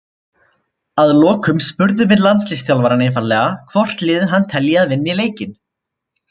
Að lokum spurðum við landsliðsþjálfarann einfaldlega hvort liðið hann telji að vinni leikinn.